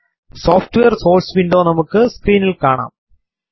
software source window നമുക്ക് സ്ക്രീനിൽ കാണാം